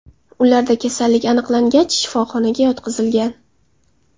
Ularda kasallik aniqlangach, shifoxonaga yotqizilgan.